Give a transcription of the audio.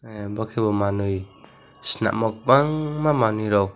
bw khe bo manuwi chwlamo bang ma manwi rokh.